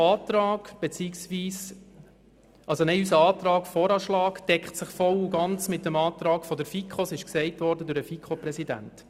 Unser Antrag deckt sich voll und ganz mit jenem der FiKo, was bereits vom Präsidenten der FiKo erwähnt worden ist.